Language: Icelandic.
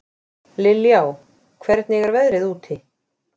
Liljá, hvernig er veðrið úti?